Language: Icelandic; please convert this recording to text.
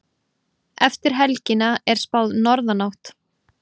Eftir helgina er spáð norðanátt